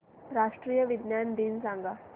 राष्ट्रीय विज्ञान दिन सांगा